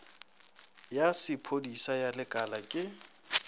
ya sephodisa ya lekala ke